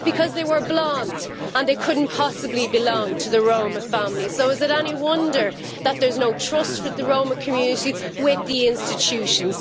Because they were blond and they could not possibly belong to the Roma family. So is it any wonder that there is no trust within the Roma community for the institutions?